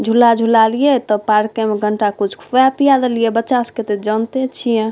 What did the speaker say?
झूला झूला लिए त पार्के में कुछ खिया पिया देलिए बच्चा सब के ते जानते छिये |